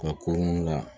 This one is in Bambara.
Ka ko nun la